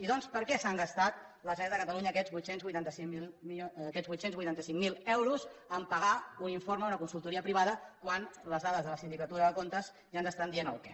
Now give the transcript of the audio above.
i doncs per què s’ha gastat la generalitat de catalunya aquests vuit cents i vuitanta cinc mil euros per pagar un informe d’una consultoria privada quan les dades de la sindicatura de comptes ja ens estan dient el què